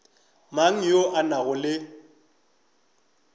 mang yo a nago le